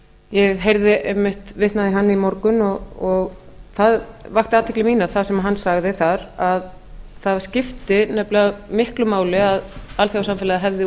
ég heyrði einmitt vitnað í hann í morgun og það vakti athygli mína sem hann sagði þar að það skipti nefnilega miklu máli að alþjóðasamfélagið hefði